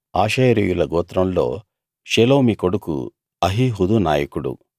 ఆషేరీయుల గోత్రంలో షెలోమి కొడుకు అహీహూదు నాయకుడు